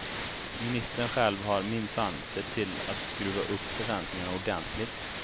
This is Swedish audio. Ministern själv har minsann sett till att skruva upp förväntningarna ordentligt.